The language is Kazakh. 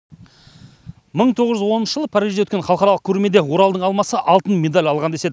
мың тоғыз жүз оныншы жылы парижде өткен халықаралық көрмеде оралдың алмасы алтын медаль алған деседі